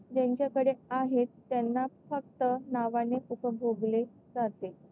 ज्यांच्याकडे आहेत त्यांच्या फक्त नावाने उपभोगले जाते.